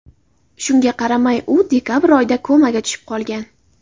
Shunga qaramay, u dekabr oyida komaga tushib qolgan.